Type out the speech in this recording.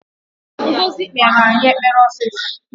Ngọzi kpere anyị ekpere ọsịsọ!